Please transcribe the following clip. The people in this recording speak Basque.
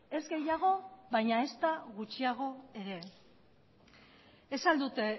ez gehiago baina ezta gutxiago ere ez al dute